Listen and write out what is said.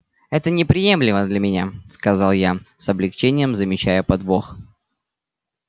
это неприемлемо для меня сказал я с облегчением замечая подвох